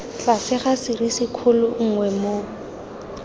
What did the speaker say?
tlase ga serisikgolo nngwe moo